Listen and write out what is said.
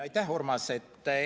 Aitäh, Urmas!